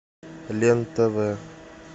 лен тв